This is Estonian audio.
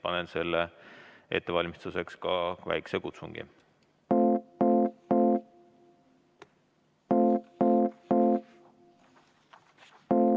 Panen selle ettevalmistuseks ka väikese kutsungi.